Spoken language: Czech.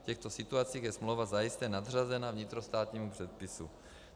V těchto situacích je smlouva zajisté nadřazena vnitrostátnímu předpisu.